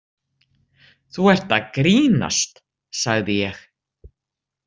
Þú ert að grínast, sagði ég.